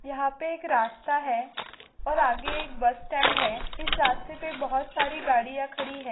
यहाँ पे एक रास्ता है और आगे एक बस स्टॅंड इस रास्ते पे बहुत साडी गाड़िया खड़ी है।